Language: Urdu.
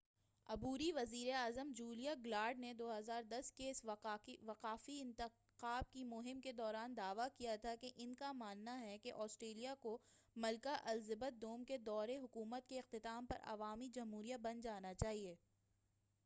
عبوری وزیر اعظم جولیا گلارڈ نے 2010 کے وفاقی انتخاب کی مہم کے دوران دعویٰ کیا تھا کہ ان کا ماننا ہے کہ آسٹریلیا کو ملکہ الزبتھ دوم کے دورِ حکومت کے اختتام پر عوامی جمہوریہ بن جانا چاہیئے